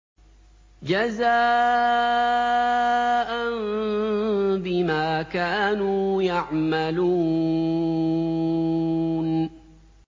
جَزَاءً بِمَا كَانُوا يَعْمَلُونَ